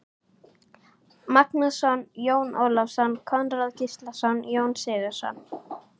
Magnússon, Jón Ólafsson, Konráð Gíslason, Jón Sigurðsson